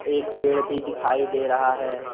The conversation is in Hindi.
एक पेड़ भी दिखाई दे रहा है।